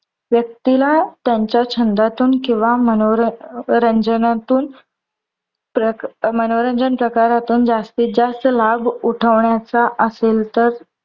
व्यक्तीला त्यांच्या छंदातुन किंवा मनोरंजनातून मनोरंजन प्रकारातून जास्तीत जास्त लाभ उठवण्याचा असेल, तर